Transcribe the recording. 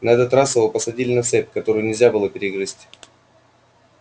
на этот раз его посадили на цепь которую нельзя было перегрызть